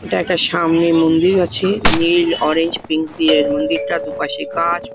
এটা একটা সামনে মন্দির আছে। নীল অরেঞ্জ পিঙ্ক দিয়ে মন্দিরটা দুপাশে গাছ |